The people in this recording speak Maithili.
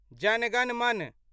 जन गण मन